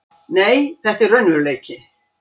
Nei, þetta er raunveruleiki.